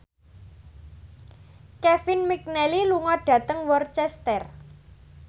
Kevin McNally lunga dhateng Worcester